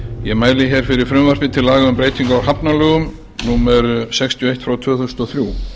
ég mæli fyrir frumvarpi til laga um breytingu á hafnalögum númer sextíu og eitt tvö þúsund og þrjú